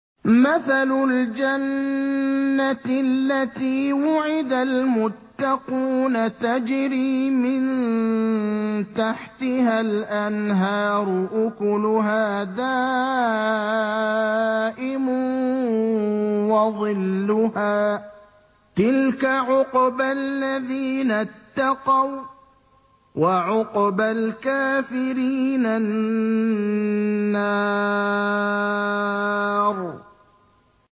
۞ مَّثَلُ الْجَنَّةِ الَّتِي وُعِدَ الْمُتَّقُونَ ۖ تَجْرِي مِن تَحْتِهَا الْأَنْهَارُ ۖ أُكُلُهَا دَائِمٌ وَظِلُّهَا ۚ تِلْكَ عُقْبَى الَّذِينَ اتَّقَوا ۖ وَّعُقْبَى الْكَافِرِينَ النَّارُ